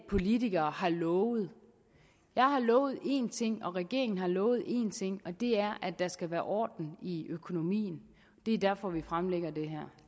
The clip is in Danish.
politikere har lovet jeg har lovet en ting regeringen har lovet en ting og det er at der skal være orden i økonomien det er derfor vi fremlægger det her